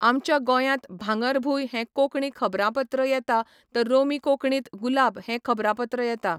आमच्या गोंयात भांगरभूंय हें कोंकणी खबरांपत्र येता तर रोमी कोंकणींत गुलाब हें खबरांपत्र येता